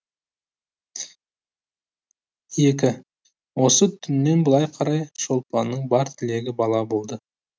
екі осы түннен былай қарай шолпанның бар тілегі бала болды